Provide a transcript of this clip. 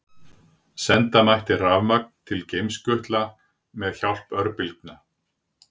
Senda mætti rafmagn til geimskutla með hjálp örbylgja.